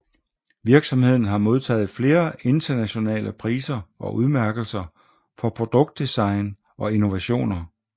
Virksomheden har modtaget flere internationale priser og udmærkelser for produktdesign og innovationer